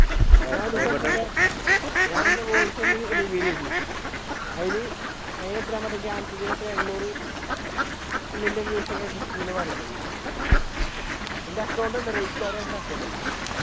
ഞാനെന്റെ voice ഒന്ന് reveal ചെയ്തു അതിന് അതിന് എത്രയാ എണ്ണൂറ് മില്യൺ views ഒക്കെ കിട്ടി എന്നാണ് പറയണത് എന്റെ account ഉണ്ട് account